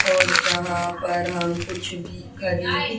और यहां पर हम कुछ भी खरीद--